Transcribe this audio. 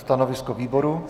Stanovisko výboru?